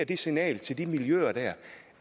det signal til de miljøer der